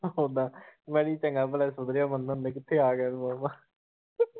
ਮੈਂ ਕਿਹਾ ਚੰਗਾ ਭਲਾ ਸੁਧਰਿਆ ਬੰਦਾ ਮਾਮਾਂ .